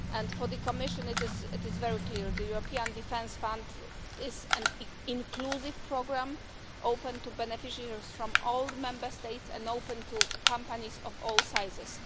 For the Commission it is very clear that the European Defence Fund is an inclusive programme open to beneficiaries from all the Member States and open to companies of all sizes.